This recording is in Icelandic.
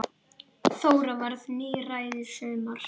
Þóra varð níræð í sumar.